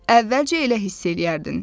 Əvvəlcə elə hiss eləyərdin.